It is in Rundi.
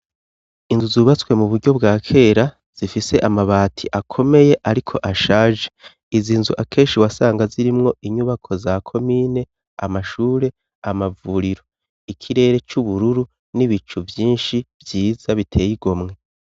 Inzu zubatswe mu buryo bwa kera zifise amabati akomeye ariko ashaje, izi nzu akeshi wasanga zirimwo inyubako za komine amashure amavuriro ikirere c'ubururu n'ibicu vyinshi vyiza biteye igomwe.